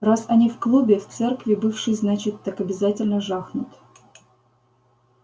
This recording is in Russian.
раз они в клубе в церкви бывшей значит так обязательно жахнут